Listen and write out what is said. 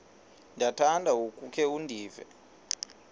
ndiyakuthanda ukukhe ndive